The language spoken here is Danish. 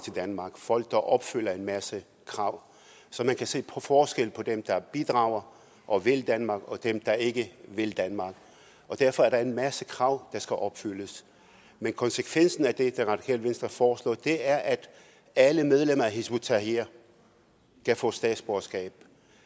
danmark folk der opfylder en masse krav så man kan se forskel på dem der bidrager og vil danmark og dem der ikke vil danmark og derfor er der en masse krav der skal opfyldes men konsekvensen af det som det radikale venstre foreslår er at alle medlemmer af hizb ut tahrir kan få statsborgerskab